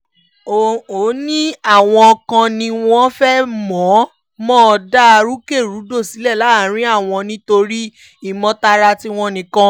ó òní àwọn kan ni wọ́n fẹ́ẹ́ mọ̀-ọ́n-mọ̀ dá rúkèrúdò sílẹ̀ láàrin àwọn nítorí ìmọtara tiwọn nìkan